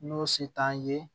N'o si t'an ye